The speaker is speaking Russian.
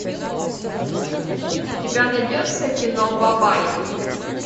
у тебя найдется кино бабай